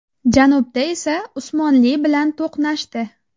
Janubda esa Usmonli bilan to‘qnashdi.